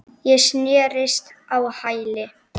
Ég snerist á hæli.